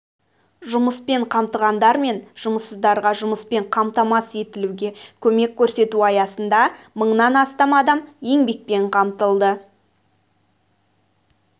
жұмыспен қамтығандар мен жұмыссыздарға жұмыспен қамтамасыз етілуге көмек көрсету аясында мыңнан астам адам еңбекпен қамтылды